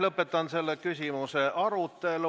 Lõpetan selle küsimuse arutelu.